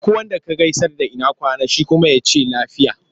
Duk wanda ka gaisar da ina kwana? Shi kuma sai ya ce lafiya.